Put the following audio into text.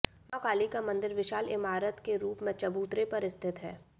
मां काली का मंदिर विशाल इमारत के रूप में चबूतरे पर स्थित है